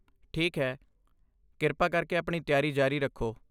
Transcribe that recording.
ਠੀਕ ਹੈ, ਕਿਰਪਾ ਕਰਕੇ ਆਪਣੀ ਤਿਆਰੀ ਜਾਰੀ ਰੱਖੋ।